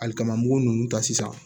Ali kaman mugu ninnu ta sisan